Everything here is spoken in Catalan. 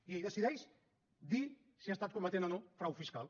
i ell decideix dir si ha estat cometent o no frau fiscal